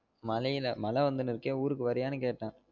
மழயில மழ வந்துனு இருக்கே ஊருக்கு வரியான்னு கேட்டன்